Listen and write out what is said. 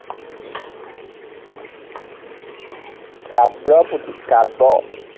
কাব্য় পুথি। কাব্য়